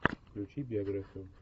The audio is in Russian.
включи биографию